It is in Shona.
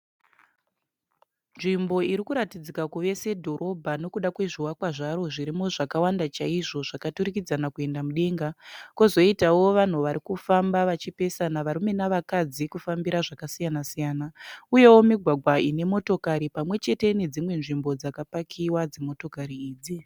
Nzvimbo irikuratidzika kuve sedhorobha nekuda kwezvivakwa zvaro zvirimo zvakawanda chaizvo zvakaturikidzana kuenda mudenga. Kozoitawo vanhu varikufamba vachipesana varume nevakadzi kufambira zvakasiyana-siyana, uyewo migwagwa inemotokari pamwe chete nedzimwe nzvimbo dzakapakiwa dzimotokari idzi.